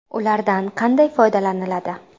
Ulardan qanday foydalaniladi?.